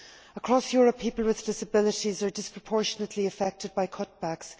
Across Europe, people with disabilities are disproportionately affected by cutbacks.